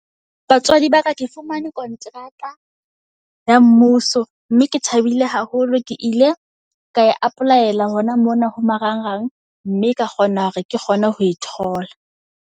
Batswadi ba ka ke fumane kontraka ya mmuso mme ke thabile haholo. Ke ile ka e apply-ela hona mona ho marang rang mme ka kgona hore ke kgone ho e thola.